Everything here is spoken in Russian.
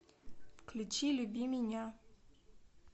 включи люби меня